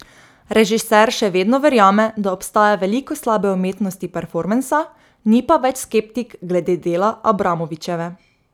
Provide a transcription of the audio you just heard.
Režiser še vedno verjame, da obstaja veliko slabe umetnosti performansa, ni pa več skeptik glede dela Abramovićeve.